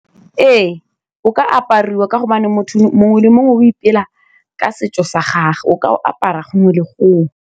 Ee o ka apariwa ka gobane motho mongwe le mongwe o ipela ka setso sa gagwe, o ka o apara gongwe le gongwe.